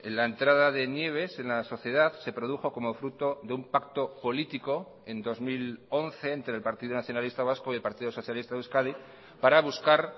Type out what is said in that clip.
la entrada de nieves en la sociedad se produjo como fruto de un pacto político en dos mil once entre el partido nacionalista vasco y el partido socialista de euskadi para buscar